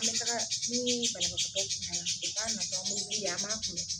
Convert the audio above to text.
An be taga nii banabagatɔ kunbɛn na o kan ka kɛ an be wuli de an b'a kunbɛn